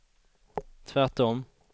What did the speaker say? tvärtom